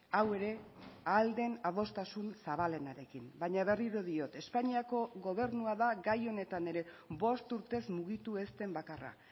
hau ere ahal den adostasun zabalenarekin baina berriro diot espainiako gobernua da gai honetan ere bost urtez mugitu ez den bakarra